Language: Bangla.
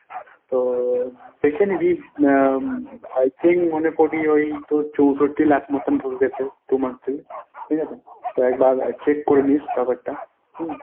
তো দেখে নিবি আহ I think মনে করি ওই তোর চৌষট্টি লাখ মতন ঢুকেছে two months এ ঠিকাছে? তো একবার check করে নিস টাকাটা হুম?